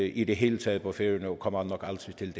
i det hele taget på færøerne og kommer nok aldrig til